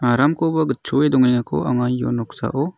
aramkoba gitchoe dongengako anga io noksao--